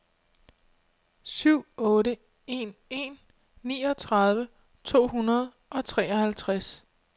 syv otte en en niogtredive to hundrede og treoghalvtreds